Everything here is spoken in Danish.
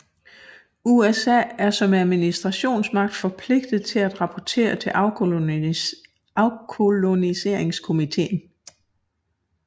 USA er som administrationsmagt forpligtet til at rapportere til afkoloniseringskomiteen